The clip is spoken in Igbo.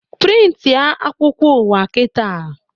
Prịntị a akwụkwọ ụwa kịta!